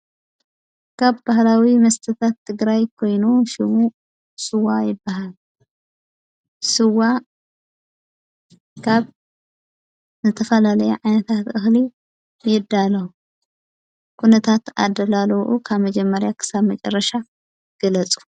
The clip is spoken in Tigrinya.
ካብ ባህላዊ መስተታት ትግራይ ኮይኑ ሽሙ ስዋ ይበሃል። ስዋ ካብ ዝተፈላለየ ዓይነታት እክሊ ይዳለዉ። ኲነታት ኣደላለዉኡ ካብ መጀመርያ ኽሳብ መጨረሻ ገለጹ።